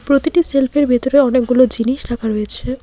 প্রতিটি সেলফ -এর ভেতরে অনেকগুলো জিনিস রাখা রয়েছে।